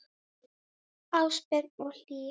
Ásbjörn og Hlíf.